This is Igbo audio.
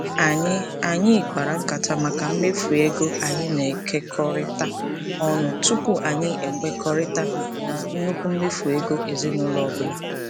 Anyị Anyị kpara nkata maka mmefu ego anyị na-ekekọrịta ọnụ tụpụ anyị ekwekọrịta na nnukwu mmefu ego ezinaụlọ ọbụla.